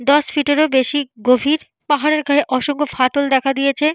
দশ ফিটেরও বেশি গভীর পাহাড়ের গায়ে অসংখ্য ফাটল দেখা দিয়েছে।